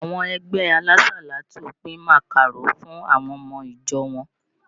Àwọn ẹgbẹ alásàlátù pin màkàró fún àwọn ọmọ ìjọ wọn.